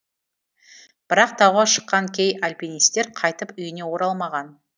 бірақ тауға шыққан кей альпинистер қайтып үйіне оралмаған